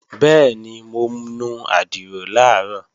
Bẹ́ẹ̀ni, mo nu àdìrò làárọ̀